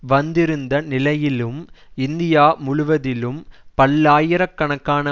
வந்திருந்த நிலையிலும் இந்தியா முழுவதிலும் பல்லாயிர கணக்கான